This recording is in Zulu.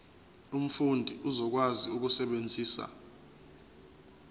umfundi uzokwazi ukusebenzisa